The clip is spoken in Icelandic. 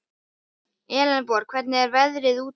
Elenborg, hvernig er veðrið úti?